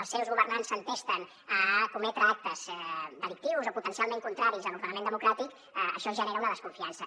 els seus governants s’entesten a cometre actes delictius o potencialment contraris a l’ordenament democràtic això genera una desconfiança